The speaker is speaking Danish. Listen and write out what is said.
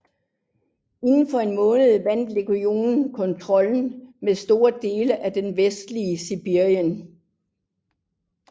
Inden for en måned vandt legionen kontrollen med store dele af det vestlige Sibirien